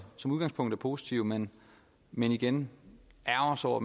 som udgangspunkt er positive men men igen ærgrer sig over